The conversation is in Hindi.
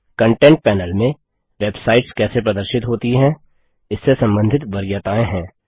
कंटेंट पैनल में वेबसाइट्स कैसे प्रदर्शित होती हैं इससे संबंधित वरीयताएँ हैं